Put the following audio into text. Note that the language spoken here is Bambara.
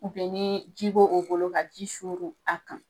ni ji b'o o bolo ka ji suru a kan.